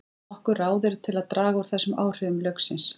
Nokkur ráð eru til að draga úr þessum áhrifum lauksins.